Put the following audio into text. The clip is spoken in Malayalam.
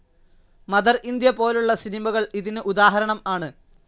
മദർഇന്ത്യ പോലുള്ള സിനിമകൾ ഇതിനു ഉദാഹരണം ആണ്.